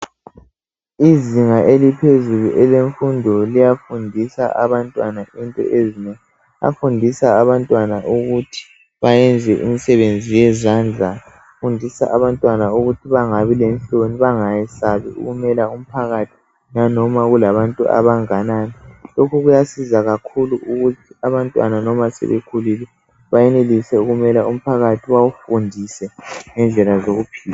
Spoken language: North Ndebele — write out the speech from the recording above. Izinga eliphezulu elemfundo liyafundisa abantwana into ezinengi Bafundisa abantwana ukuthi bayenze imisebenzi yezandla Bafundisa abantwana ukuthi bangabi lenhloni bangayesabi ukumela umphakathi lanoma kulabantu abanganani Lokhu kuyasiza kakhulu ukuthi abantwana loma sebekhulile bayenelise ukumela umphakathi bawufundise ngendlela zokuphila